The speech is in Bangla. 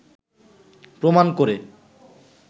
প্রমাণ করে